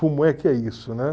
Como é que é isso, né?